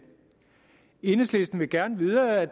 enhedslisten vil gerne videre ad